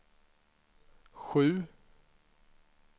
sju